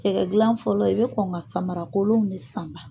Cɛgɛ dila fɔlɔ i bɛ kɔn ka samarakolon de sanba